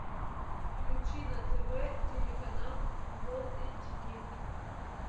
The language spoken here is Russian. включи на тв телеканал футбол эйч ди